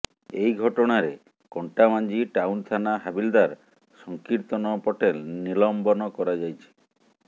ଏହି ଘଟଣାରେ କଣ୍ଟାବାଞ୍ଜି ଟାଉନ୍ ଥାନା ହାବିଲଦାର ସଂକୀର୍ତ୍ତନ ପଟେଲ ନିଲମ୍ବନ କରାଯାଇଛି